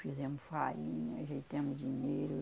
Fizemos farinha, ajeitamos dinheiro.